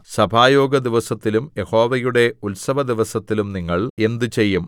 സഭായോഗ ദിവസത്തിലും യഹോവയുടെ ഉത്സവദിവസത്തിലും നിങ്ങൾ എന്ത് ചെയ്യും